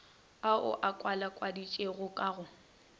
ao a kwalakwaditšwego ka go